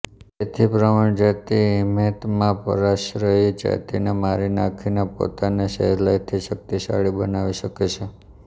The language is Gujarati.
તેથી પ્રવિણ જાતિ હિમેત માં પરાશ્રયી જાતિને મારી નાખીને પોતાને સહેલાઇથી શક્તિશાળી બનાવી શકે છે